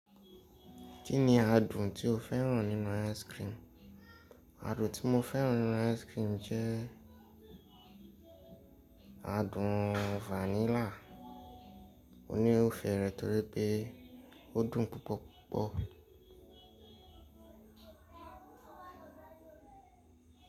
Kí ni adùn tí o fẹ́ràn nínú ice cream? Adùn tí mo fẹ́ràn nínú ice cream jẹ adùn vanilla. Mo ní ó fé rẹ̀ torí pé ó dùn púpọ̀púpọ̀.